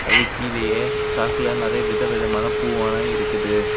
அது கீழியே சாக்ல நறைய விதவிதமான பூவெல்லாம் இருக்குது.